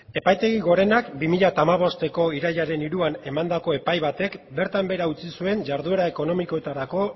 epaitegi gorenak bi mila hamabostko irailaren hiruan emandako epai batek bertan behera utzi zuen jarduera ekonomikoetarako